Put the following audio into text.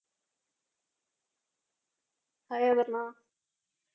Hai Aparna